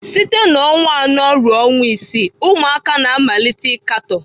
Site na ọnwa anọ ruo ọnwa isii, ụmụaka na-amalite ịkatọ.